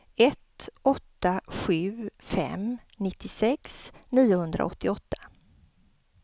ett åtta sju fem nittiosex niohundraåttioåtta